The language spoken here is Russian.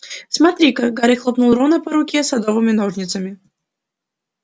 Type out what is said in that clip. смотри-ка гарри хлопнул рона по руке садовыми ножницами